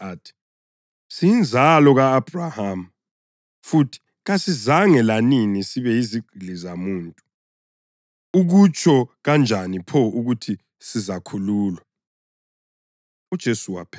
Amphendula athi, “Siyinzalo ka-Abhrahama futhi kasizange lanini sibe yizigqili zamuntu. Ukutsho kanjani pho ukuthi sizakhululwa?”